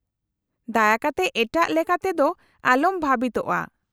-ᱫᱟᱭᱟ ᱠᱟᱛᱮ ᱮᱴᱟᱜ ᱞᱮᱠᱟ ᱛᱮ ᱫᱚ ᱟᱞᱚᱢ ᱵᱷᱟᱵᱤᱛᱚᱜᱼᱟ ᱾